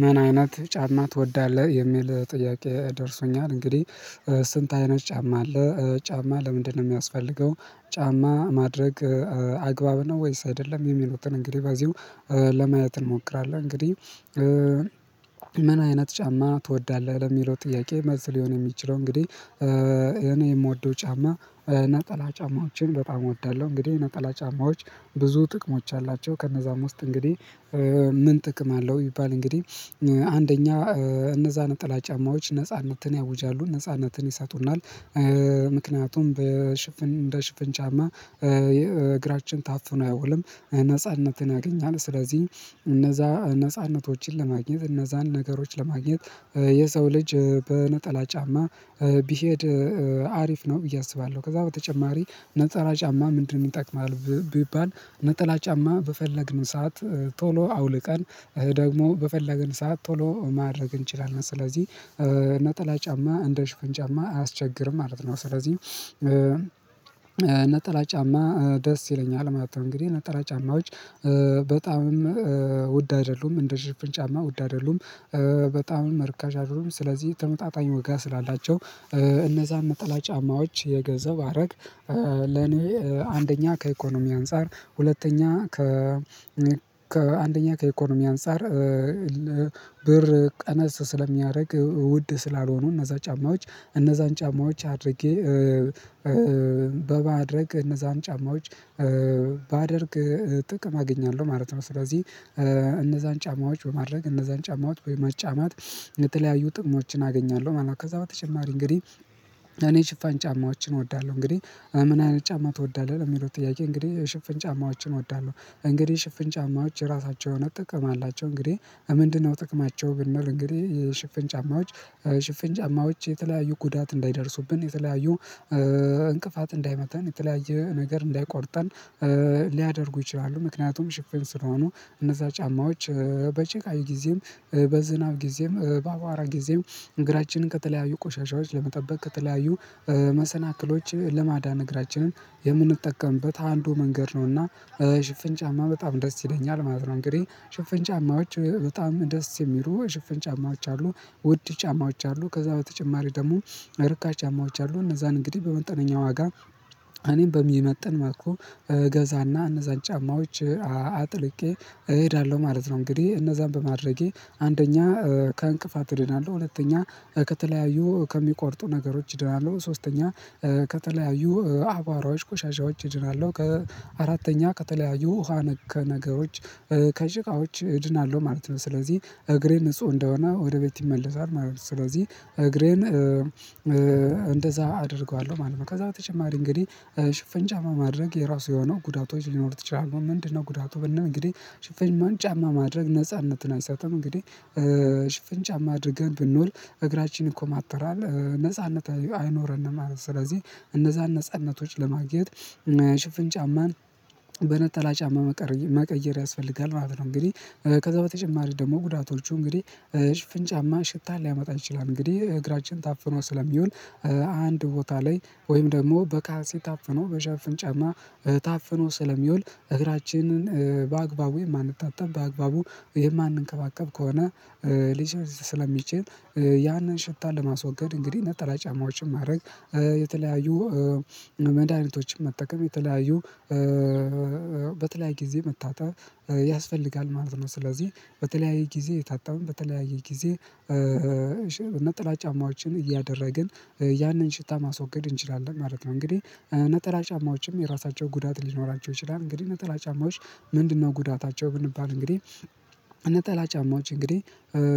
ምን አይነት ጫማ ትወዳለህ? የሚል ጥያቄ ደርሶኛል እንግዲህ ስንት አይነት ጫማ አለ ጫማ ለምንድነው የሚያስፈልገው? ጫማ ማድረግ አግባብ ነው ወይስ አይደለም የሚሉትን እንግዲህ በዚሁ ለማየት እንሞክራለን። እንግዲህ ምን አይነት ጫማ ትወዳለህ ለሚለው ጥያቄ መልስ ሊሆን የሚችለው እንግዲህ እኔ የምወደው ጫማ ነጠላ ጫማዎችን በጣም እወዳለሁ። እንግዲህ ነጠላ ጫማዎች ብዙ ጥቅሞች አላቸው ከነዛም ውስጥ እንግዲህ ምን ጥቅም አለው ይባል እንግዲህ አንደኛ እነዛን ነጠላ ጫማዎች ነጻነትን ያውጃሉ ነጻነትን ይሰጡናል። ምክንያቱም በሽፍን እንደ ሽፍን ጫማ እግራችን ታፍኖ አይውልም ነጻነትን ያገኛል ስለዚህ እነዛ ነጻነቶችን ለማግኘት እነዛን ነገሮችን ለማግኘት የሰው ልጅ በነጠላ ጫማ ቢሄድ አሪፍ ነው ብዬ አስባለሁ። ከዛ በተጨማሪ ነጠላ ጫማ ምንድን ይጠቅማል ቢባል ነጠላ ጫማ በፈለግን ሰዓት ቶሎ አውልቀን ደግሞ በፈለግን ሰዓት ቶሎ ማድረግ እንችላለን። ስለዚህ ነጠላ ጫማ እንደሽፍን ጫማ አያስቸግርም ማለት ነው። ስለዚህ እና ጫማ ደስ ይለኛል ማለት ነው። እንግዲህ ነጠላ ጫማዎች በጣምም ውድ አይደሉም እንደ ሽፍን ጫማ ውድ አይደሉም በጣምም ርካሽ አይደሉም። ስለዚህ ተመጣጣኝ ዋጋ ስላላቸው እነዛን ነጠላ ጫማዎች እየገዛሁ ባረግ። ለኔ አንደኛ ከኢኮኖሚ አንፃር ሁለተኛ ከ ከአንደኛ ከኢኮኖሚ አንፃር ብር ቀነስ ስለሚያደርግ ውድ ስላልሆኑ እነዛ ጫማዎች እነዛን ጫማዎች አድርጌ በማድረግ እነዛን ጫማዎች ባደርግ ጥቅም አገኛለሁ ማለት ነው። ስለዚህ እነዛን ጫማዎች በማድረግ እነዛን ጫማዎች ወይም መጫማት የተለያዩ ጥሞችን አገኛለሁ ማለት ነው። ከዛ በተጨማሪ እንግዲህ እኔ ሽፋኝ ጫማዎችን እወዳለሁ እንግዲህ ምን አይነት ጫማ ትወዳለህ የሚለው ጥያቄ እንግዲህ ሽፍን ጫማዎችን እወዳለሁ። እንግዲህ ሽፍን ጫማዎች ራሳቸው የሆነ ጥቅም አላቸው እንግዲህ ምንድነው ጥቅማቸው ብንል እንግዲህ የሽፍን ጫማዎች ሽፍን ጫማዎች የተለያዩ ጉዳት እንዳይደርሱብን የተለያዩ እንቅፋት እንዳይመታን የተለያየ ነገር እንዳይቆርጠን ሊያደርጉ ይችላሉ። ምክንያቱም ሽፍን ስለሆኑ እነዛ ጫማዎች በጭቃ ጊዜም በዝናብ ጊዜም በአቧራ ጊዜም እግራችንን ከተለያዩ ቆሻሻዎች ለመጠበቅ ከተለያዩ መሰናክሎች ለማዳን እግራችንን የምንጠቀምበት አንዱ መንገድ ነውና። ሽፍን ጫማ በጣም ደስ ይለኛል ማለት ነው። እንግዲህ ሽፍን ጫማዎች በጣም ደስ የሚሉ ሽፍን ጫማዎች አሉ ውድ ጫማዎች አሉ ከዛ በተጨማሪ ደግሞ ርካሽ ጫማዎች አሉ። እነዛን እንግዲህ በመጠነኛ ዋጋ እኔም በሚመጥን መልኩ እገዛና እነዛን ጫማዎች አጥልቄ እሄዳለሁ ማለት ነው። እንግዲህ እነዛን በማድረጌ አንደኛ ከእንቅፋት እድናለሁ ሁለተኛ ከተለያዩ ከሚቆርጡ ነገሮች እድናለሁ ሶስተኛ ከተለያዩ አቧራዎች ቆሻሻዎች እድናለሁ ከአራተኛ ከተለያዩ ውሃ ነክ ነገሮች ከጭቃዎች እድናለሁ ማለት ነው። ስለዚህ እግሬ ንጹህ እንደሆነ ወደ ቤት ይመለሳል ማለት ነው። ስለዚህ እግሬን እንደዛ አደርገዋለሁ ማለት ነው። ከዛ በተጨማሪ እንግዲህ ሽፍን ጫማ ማድረግ የራሱ የሆነው ጉዳቶች ሊኖሩት ይችላሉ። ምንድነው ጉዳቱ ብንል እንግዲህ ሽፍንን ጫማ ማድረግ ነጻነትን አይሰጥም እንግዲህ ሽፈን ጫማ ማድረግ ብንውል እግራችን ይኮማተራል ነጻነት አይኖረንም ማለት ነው። ስለዚህ እነዛን ነጻነቶች ለማግኘት እና ያ ሽፍን ጫማን በነጠላ ጫማ መቀየር ያስፈልጋል ማለት ነው። እንግዲህ ከዛ በተጨማሪ ደግሞ ጉዳቶቹ እንግዲህ ሽፍን ጫማ ሽታ ሊያመጣ ይችላል። እንግዲህ እግራችን ታፍኖ ስለሚውል አንድ ቦታ ላይ ወይም ደግሞ በካልሲ ታፍኖ በሸፍን ጫማ ታፍኖ ስለሚወል እግራችንን በአግባቡ የማንታጠብ በአግባቡ የማንንከባከብ ከሆነ ሊሸት ስለሚችል ያንን ሽታ ለማስወገድ እንግዲህ ነጠላ ጫማዎችን ማድረግ የተለያዩ መድሃኒቶችን መጠቀም የተለያዩ በተለያየ ጊዜ መታጠብ ያስፈልጋል ማለት ነው። ስለዚህ በተለያየ ጊዜ እየታጠብን በተለያየ ጊዜ ነጠላ ጫማዎችን እያደረግን ያንን ሽታ ማስወገድ እንችላለን ማለት ነው። እንግዲህ ነጠላ ጫማዎችም የራሳቸው ጉዳት ሊኖራቸው ይችላል። እንግዲህ እነ ጠላ ጫማዎች ምንድነው ጉዳታቸው ብንባል እንግዲህ ነጠላ ጫማዎች እንግዲህ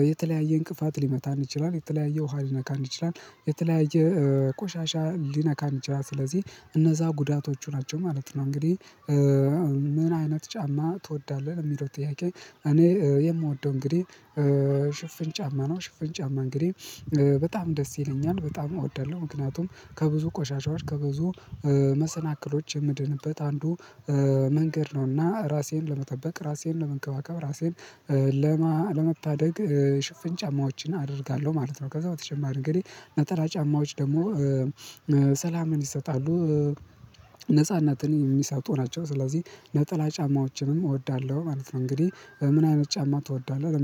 የተለያየ እንቅፋት ሊመታን ይችላል የተለያየ ውሃ ሊነካን ይችላል የተለያየ ቆሻሻ ሊነካን ይችላል ስለዚህ እነዛ ጉዳቶቹ ናቸው። ማለት ነው እንግዲህ ምን አይነት ጫማ ትወዳለህ? ለሚለው ጥያቄ እኔ የምወደው እንግዲህ ሽፍን ጫማ ነው። ሽፍን ጫማ እንግዲህ በጣም ደስ ይለኛል በጣም እወዳለሁ ምክንያቱም ከብዙ ቆሻሻዎች ከብዙ መሰናክሎች የምድንበት አንዱ መንገድ ነውና ራሴን ለመጠበቅ ራሴን ለመንከባከብ ራሴን ለመታደግ ሽፍን ጫማዎችን አደርጋለሁ ማለት ነው። ከዛ በተጨማሪ እንግዲህ ነጠላ ጫማዎች ደግሞ ሰላምን ይሰጣሉ ነፃነትን የሚሰጡ ናቸው። ስለዚህ ነጠላ ጫማዎችንም እወዳለሁ ማለት ነው። እንግዲህ ምን አይነት ጫማ ትወዳለህ